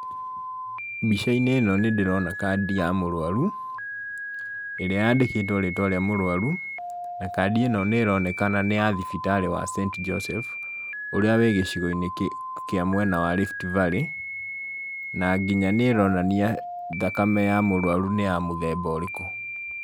Mbica-inĩ ĩno nĩndĩrona kadi ya mũrũaru, ĩrĩa yandĩkĩtwo rĩtwa rĩa mũrũaru, na kadi ĩno nĩronekana nĩ ya thibitarĩ wa St Joseph ũrĩa wĩ gĩcigoinĩ kĩ kĩa mwena wa Riftvalley, na nginya nĩronania, thakame ya mũrũaru nĩ ya mũthemba ũrĩkũ.